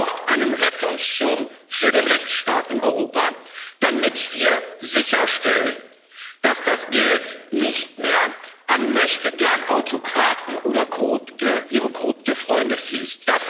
Es braucht einen Rettungsschirm für den Rechtsstaat in Europa, damit wir sicherstellen, dass das Geld nicht mehr an Möchtegern Autokraten oder ihre korrupten Freunde fließt.